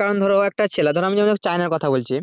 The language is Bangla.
কারণ ধরো একটা ছেলে ধরো আমি যেমন চাইনা কথা বলছি